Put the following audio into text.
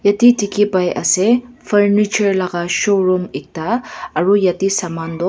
yate dekhi pai ase furniture laga showroom ekta aru yate saman tu--